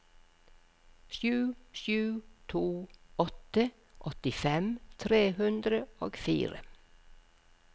sju sju to åtte åttifem tre hundre og fire